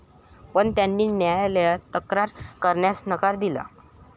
पण त्यांनी न्यायालयात तक्रार करण्यास नकार दिला.